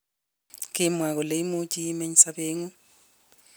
Kimwa kole imuchii imeny sabeengung